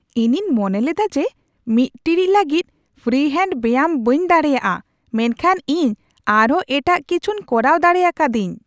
ᱤᱧᱤᱧ ᱢᱚᱱᱮ ᱞᱮᱫᱟ ᱡᱮ ᱢᱤᱫ ᱴᱤᱲᱤᱡ ᱞᱟᱹᱜᱤᱫ ᱯᱷᱨᱤ ᱦᱮᱱᱰ ᱵᱮᱭᱟᱢ ᱵᱟᱹᱧ ᱫᱟᱲᱮᱭᱟᱜᱼᱟ, ᱢᱮᱱᱠᱷᱟᱱ ᱤᱧ ᱟᱨᱦᱚᱸ ᱮᱴᱟᱜ ᱠᱤᱪᱷᱩᱧ ᱠᱚᱨᱟᱣ ᱫᱟᱲᱮ ᱟᱠᱟᱫᱟᱧ ᱾